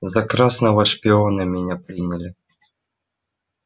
за красного шпиона меня приняли